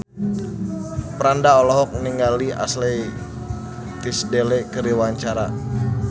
Franda olohok ningali Ashley Tisdale keur diwawancara